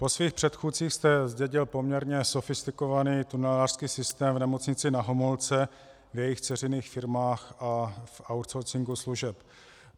Po svých předchůdcích jste zdědil poměrně sofistikovaný tunelářský systém v Nemocnici Na Homolce, v jejích dceřiných firmách a v outsourcingu služeb.